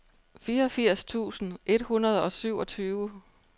fireogfirs tusind et hundrede og syvogtyve